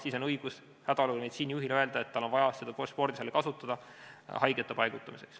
Hädaolukorra meditsiinijuhil on õigus öelda, et tal on vaja seda spordisaali kasutada haigete paigutamiseks.